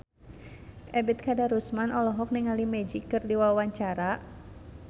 Ebet Kadarusman olohok ningali Magic keur diwawancara